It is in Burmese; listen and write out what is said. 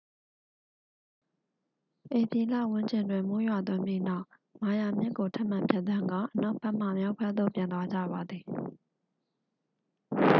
ဧပြီလဝန်းကျင်တွင် မိုးရွာသွန်းပြီးနောက် မာယာမြစ်ကို ထပ်မံဖြတ်သန်းကာ အနောက်ဘက်မှ မြောက်ဘက်သို့ ပြန်သွားကြပါသည်